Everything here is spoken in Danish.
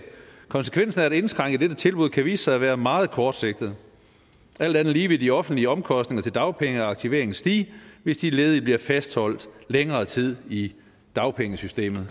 konsekvensen af at indskrænke dette tilbud kan vise sig at være meget kortsigtet alt andet lige vil de offentlige omkostninger til dagpenge og aktivering stige hvis de ledige bliver fastholdt længere tid i dagpengesystemet